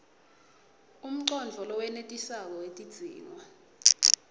umcondvo lowenetisako wetidzingo